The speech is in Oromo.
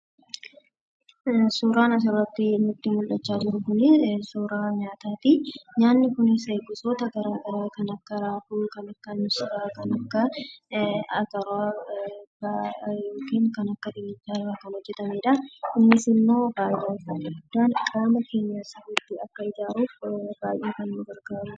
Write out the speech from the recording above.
Suuraan asirratti nutti mul'achaa jiru kun suuraa nyaataa ti. Nyaanni kunis gosoota garaagaraa kan akka raafuu, kan akka missiraa kan akka ataraa yookiin kan akka dinnichaa irraa kan hojjetamee dha. Innis immoo faayidaa isaa inni guddaan qaama keenya sirriitti akka ijaaruuf baay'ee kan nu gargaaruu dha.